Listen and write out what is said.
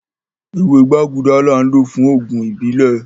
Ẹwẹ̀ gbàgúdà láń lọ́ fún oogun ìbílẹ̀.